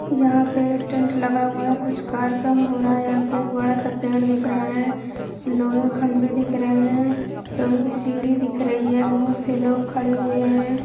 यहाँ पे टेंट लगा हुआ है कुछ कार्यक्रम हो रहा है। यहाँ पे एक बड़ा-सा पेड़ दिख रहा है। लोहे के खम्बे दिख रहे हैं। लोहे की सीढ़ी दिख रही है। बोहोत से लोग खड़े हुए हैं।